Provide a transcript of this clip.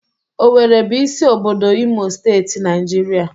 Owerri bụ isi obodo Imo Steeti, Naijiria.